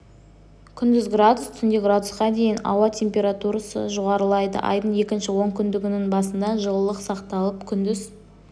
күндіз градус түнде градусқа дейін ауа температурасы жоғарылайды айдың екінші онкүндігінің басында жылылық сақталып күндіз